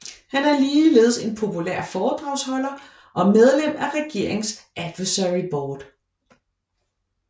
Han er ligeledes en populær foredragsholder og medlem af regeringens advisory board